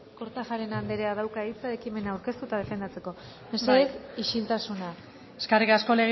kortajarena andereak dauka hitza ekimena aurkeztu eta defendatzeko mesedez isiltasuna eskerrik asko